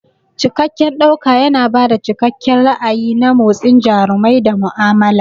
Cikakken ɗauka yana ba da cikakken ra'ayi na motsin jarumai da mu'amala.